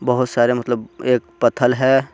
बहुत सारे मतलब एक पत्थल है.